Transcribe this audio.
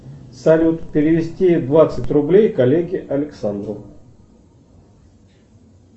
салют перевести двадцать рублей коллеге александру